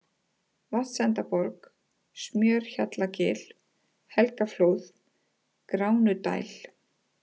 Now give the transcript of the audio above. Vatnsendaborg, Smjörhjallagil, Helgaflóð, Gránudæl